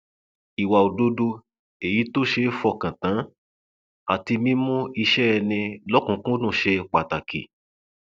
ìwà òdodo èyí tó ṣe é fọkàn tán àti mímú iṣẹ ẹni lọkùnúnkúndùn ṣe pàtàkì